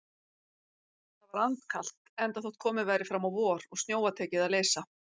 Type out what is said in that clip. Það var andkalt, enda þótt komið væri fram á vor og snjóa tekið að leysa.